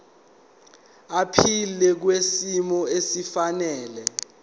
aphile kwisimo esifanele